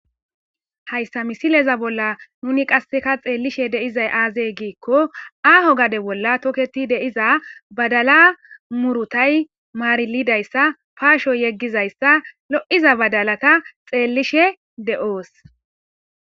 Hayssa misileza bolla nuni qasseka xeellishe deizay aazey giikko aaho gade bolla toketi deiza badala murutay maarilidayssa paasho yeggizayssa lo7iza badalata xeellishe de7oos.